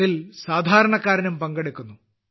അതിൽ സാധാരണക്കാരനും പങ്കെടുക്കുന്നു